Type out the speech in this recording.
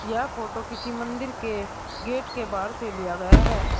यह फोटो किसी मंदिर के गेट के बाहर से लिया गया है।